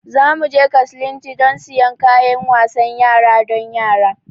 Za mu je kaslnti don siyan kayan wasan yara don yara.